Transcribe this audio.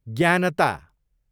ज्ञानता